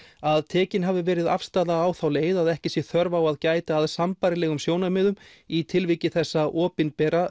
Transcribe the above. að tekin hafi verið afstaða á þá leið að ekki sé þörf á að gæta að sambærilegum sjónarmiðum í tilviki þessa opinbera